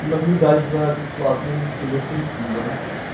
наблюдать за бесплатным педа стриптизом